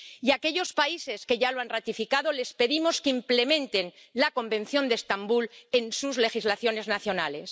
Y a aquellos países que ya lo han ratificado, les pedimos que implementen el Convenio de Estambul en sus legislaciones nacionales.